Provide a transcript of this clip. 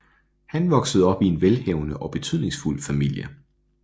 Han voksede op i en velhavende og betydningsfuld familie